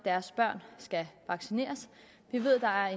deres børn skal vaccineres vi ved der er